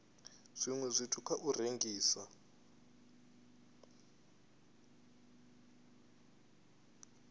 zwiwe zwithu kha u rengisa